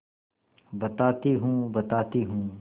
बताती हूँ बताती हूँ